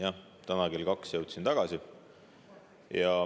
Jah, täna kell kaks jõudsin tagasi.